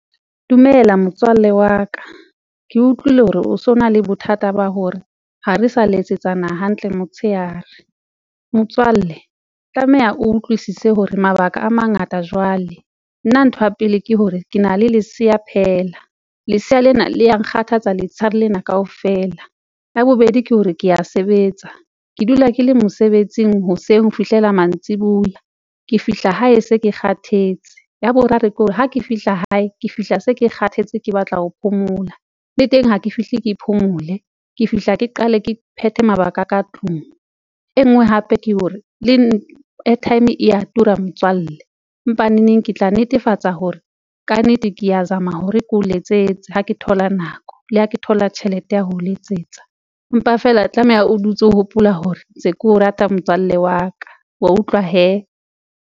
Dumela motswalle wa ka, ke utlwile hore o so na le bothata ba hore ha re sa letsetsana hantle motshehare. Motswalle tlameha o utlwisise hore mabaka a mangata jwale, nna ntho ya pele ke hore ke na le lesea phela, lesea lena le ya nkgathatsa letsheare lena kaofela. Ya bobedi ke hore ke ya sebetsa, ke dula ke le mosebetsing hoseng ho fihlela mantsiboya, ke fihla hae se ke kgathetse. Ya boraro ke hore ha ke fihla hae, ke fihla se ke kgathetse ke batla ho phomola le teng ha ke fihle ke phomole, ke fihla ke qale ke phethe mabaka a ka tlung. E ngwe hape ke hore le airtime e ya tura motswalle, empa neneng ke tla netefatsa hore ka nnete kea zama hore ke o letsetse ha ke thola nako le ha ke thola tjhelete ya ho letsetsa, empa feela tlameha o dutse ho hopola hore ntse keo rata motswalle wa ka wa utlwa hee.